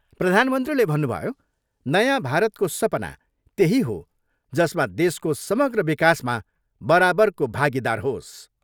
प्रधानमन्त्रीले भन्नुभयो, नयाँ भारतको सपना त्यही हो जसमा देशको समग्र विकासमा बराबरको भागिदार होस्।